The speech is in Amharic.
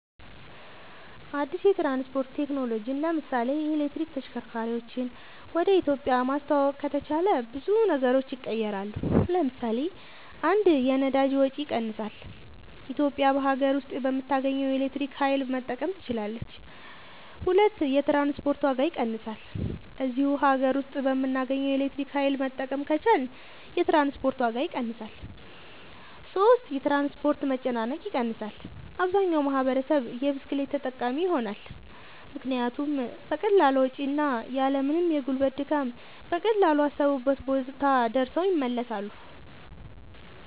አድስ የትራንስፖርት ቴክኖሎጅን ለምሳሌ የኤሌክትሪክ ተሽከርካርወችን ወደ ኢትዮጵያ ማስተዋወቅ ከተቻለ ብዙ ነገሮች ይቀየራሉ ለምሳሌ 1 የነዳጅ ወጭ ይቀንሳል ኢትዮጵያ በሀገር ውስጥ በምታገኘው የኤሌክትሪክ ኃይል መጠቀም ትችላለች 2 የትራንስፖርት ዋጋ ይቀንሳል እዚሁ ሀገር ውስጥ በምናገኘው ኤሌክትሪክ ኃይል መጠቀም ከቻልን የትራንስፖርት ዋጋ ይቀንሳል 3 የትራንስፖርት መጨናነቅ ይቀንሳል አብዛኛው ማህበረሰብ የብስክሌት ተጠቃሚ ይሆናልምክንያቱም በቀላል ወጭ እና ያልምንም የጉልበት ድካም በቀላሉ አሰቡበት ቦታ ደርሰው ይመለሳሉ